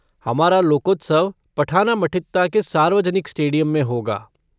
हमारा लोकोत्सव पठनामठित्ता के सार्वजनिक स्टेडियम में होगा।